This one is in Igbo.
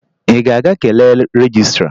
Ị ga-aga kelee rejistra?